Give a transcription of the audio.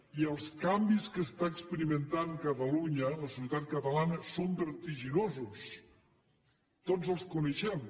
i els canvis que està experimentant catalunya la societat catalana són vertiginosos tots els coneixem